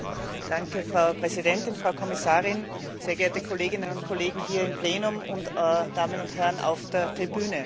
Danke Frau Präsidentin, Frau Kommissarin, sehr geehrte Kolleginnen und Kollegen hier im Plenum und Damen und Herren auf der Tribüne.